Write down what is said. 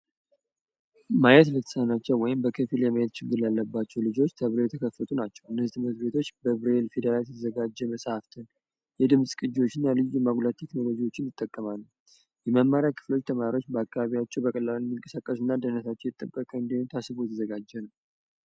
ማየት ለተሳናቸው ወይም በከፊል ማየት ለማይችሉ ተብሎ የተከፈቱ ናቸው እነዚህ ትምህርት ቤቶች በብሬል የተዘጋጀ መፅሐፍ ፣የድምፅ ማጉያዎችን እና ሌሎች ቴክኖሎጂዎችንም ይጠቀማሉ። የመማሪያ ክፍሎች ተማሪዎች በአካባቢው በቀላሉ እንዲንቀሳቀሱ እና ደህንነታቸው ታስቦ የተዘጋጀ ነው።